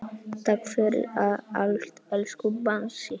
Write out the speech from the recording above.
Takk fyrir allt, elsku Bangsi.